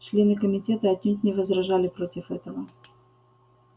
члены комитета отнюдь не возражали против этого